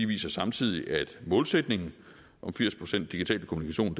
viser samtidig at målsætningen om firs procent digital kommunikation